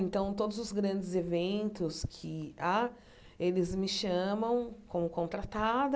Então, todos os grandes eventos que há, eles me chamam, como contratada,